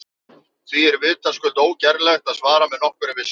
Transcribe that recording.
Því er vitaskuld ógerlegt að svara með nokkurri vissu.